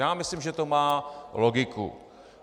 Já myslím, že to má logiku.